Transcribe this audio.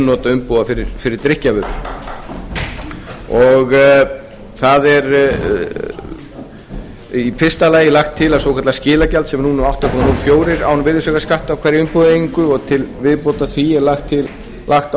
umbúða fyrir drykkjarvörur það er í fyrsta lagið lagt til að svokallað skilagjald sem nú er átta komma núll fjórar krónur án virðisaukaskatts á hverja umbúðaeiningu og til viðbótar því er lagt á umsýslugjald